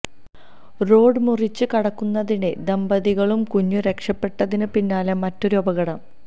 road മുറിച്ച് കടക്കുന്നതിനിടെ ദമ്പതികളും കുഞ്ഞും രക്ഷപ്പെട്ടതിന് പിന്നാലെ മറ്റൊരു അപകടം